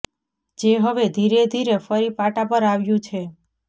જે હવે ધીરે ધીરે ફરી પાટા પર આવ્યું છે